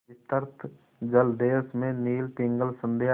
विस्तृत जलदेश में नील पिंगल संध्या